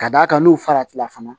Ka d'a kan n'u farati la fana